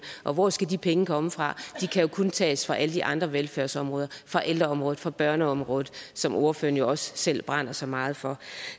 og hvor skal de penge komme fra de kan jo kun tages fra alle de andre velfærdsområder fra ældreområdet fra børneområdet som ordføreren jo også selv brænder så meget for